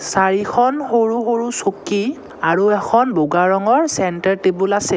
চাৰিখন সৰু সৰু চকী আৰু এখন বগা ৰঙৰ চেন্টাৰ টেবুল আছে।